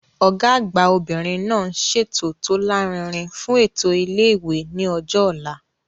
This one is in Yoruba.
Ọ̀gá àgbà obìnrin náà ń ṣètò tó lárinrin fún ètò ilé ìwé ní ọjọ́ ọ̀la